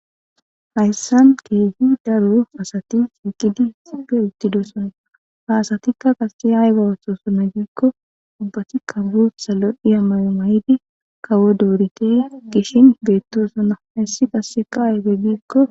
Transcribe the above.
hayssan keehi daru asati xiiqidi xipe uttidossona haasatikka qase hay bawatosona giikko ubbati kabbu salo dhiya mayomayidi kawo doorite gishin beettosona hayssi qasse qaayy beggiikko